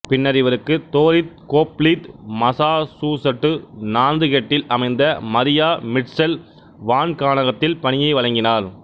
பின்னர் இவருக்குத் Dorrit Hoffleit Massachusetts நாந்துகெட்டில் அமைந்த மரியா மிட்செல் வான்காணகத்தில் பணியை வழங்கினார்